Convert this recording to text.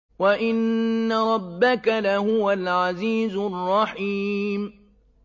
وَإِنَّ رَبَّكَ لَهُوَ الْعَزِيزُ الرَّحِيمُ